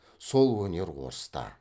сол өнер орыста